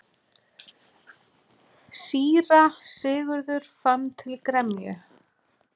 Síra Sigurður fann til gremju.